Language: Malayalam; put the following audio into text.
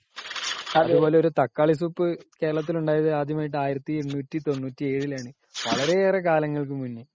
അതുപോലെ ഒരു തക്കാളി സൂപ്പ്‌ ആദ്യമായി കേരളത്തിൽ ഉണ്ടായതു ആയിരത്തി എണ്ണൂറ്റി തൊണ്ണൂറ്റി ഏഴിൽ ആണ് .വളരെ ഏറെ കാലങ്ങൾക്കു മുമ്പേ .